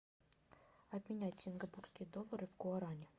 обменять сингапурские доллары в гуарани